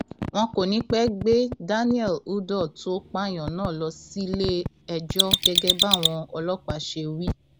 wọn kò ní í pẹẹ gbé daniel udoh tó pààyàn náà lọ síléẹjọ gẹgẹ báwọn ọlọpàá ṣe wí